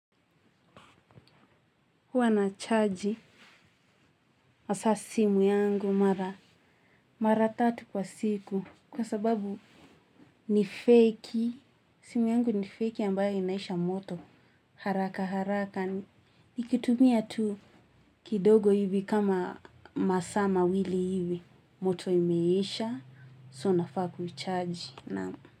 Huwa nachaji hasa simu yangu mara mara tatu kwa siku kwa sababu ni feki simu yangu ni feki ambayo inaisha moto haraka haraka nikitumia tu kidogo hivi kama masaa mawili hivi moto imeisha so nafaa kuichaji.